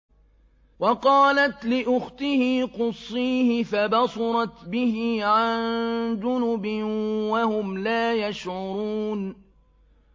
وَقَالَتْ لِأُخْتِهِ قُصِّيهِ ۖ فَبَصُرَتْ بِهِ عَن جُنُبٍ وَهُمْ لَا يَشْعُرُونَ